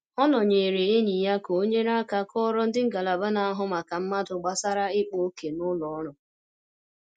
Ọ nọnyere enyi ya ka ọ nyere aka kọọrọ ndị ngalaba na-ahụ maka mmadụ gbasara ikpa òkè n'ụlọ ọrụ